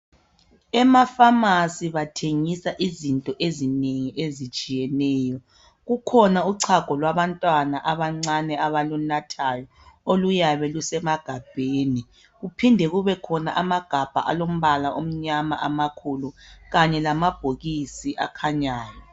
Emaphamarcy bathengisa izinto ezinengi ezitshiyeneyo. Kukhona uchago lwabantwana abancane abalunathayo okuyabe lusemagabheni kuphinde kube khona amagabha alombala omnyama amakhulu kanye lamabhokisi akhanyayo.